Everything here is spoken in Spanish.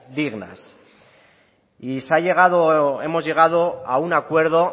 dignas y hemos llegado a un acuerdo